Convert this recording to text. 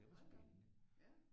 Det var spændende